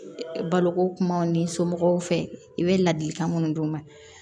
Baloko kumaw n'i somɔgɔw fɛ i bɛ ladilikan minnu d'u ma